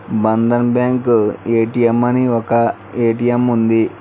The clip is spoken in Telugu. బంధన్ బ్యాంకు ఎటిఎం అని ఒక ఏటీఎం ఉంది.